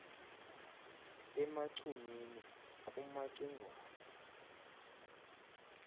emacunwini kumaci ngwana